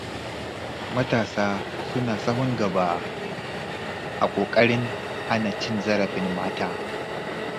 Matasa suna sahun gaba a ƙoƙarin hana cin zarafin mata.